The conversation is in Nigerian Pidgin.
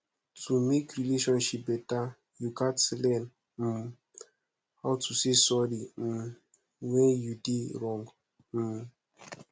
to mek relationship beta yu gats learn um how to say sorry um wen yu dey wrong um